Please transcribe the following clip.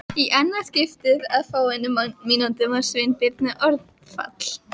Í annað skiptið á fáeinum mínútum varð Sveinbirni orðfall.